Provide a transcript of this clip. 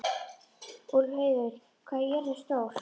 Úlfheiður, hvað er jörðin stór?